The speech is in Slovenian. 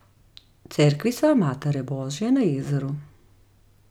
Cerkvica Matere Božje na jezeru.